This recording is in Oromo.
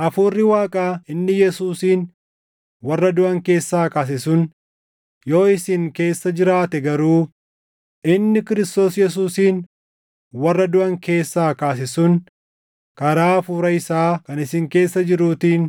Hafuurri Waaqaa inni Yesuusin warra duʼan keessaa kaase sun yoo isin keessa jiraate garuu, inni Kiristoos Yesuusin warra duʼan keessaa kaase sun karaa Hafuura isaa kan isin keessa jiruutiin